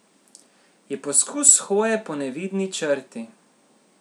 Je poskus hoje po nevidni črti ...